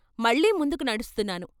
మళ్ళీ ముందుకు నడుస్తున్నాను.